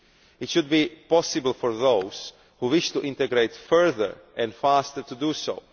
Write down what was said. It should be possible for those who wish to integrate further and faster to do so.